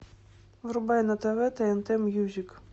врубай на тв тнт мьюзик